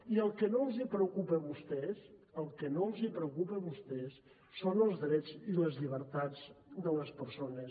i el que no els preocupa a vostès el que no els preocupa a vostès són els drets i les llibertats de les persones